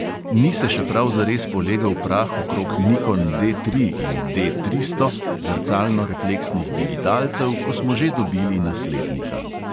Ni se še prav zares polegel prah okrog nikon D tri in D tristo zrcalnorefleksnih digitalcev, ko smo že dobili naslednika.